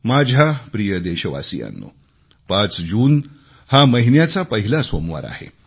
माझ्या प्रिय देशवासियांनो 5 जून हा महिन्याचा पहिला सोमवार आहे